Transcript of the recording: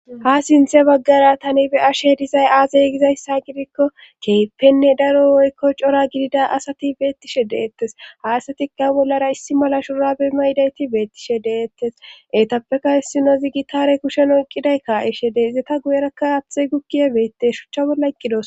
Ha sinthe baggara tani be ashe dizay aazey gizayssa gidikko keypenne daro woykko cora gidida asati beettishe deettes ha asatikka bollara issi mala shurabe mayidayti beettishe deettes eetappeka hissino zigitare kushen oqqiday ka7ishe deeizeta guyerakka aathey gukkiye beette shuchcha bolla iqqidos.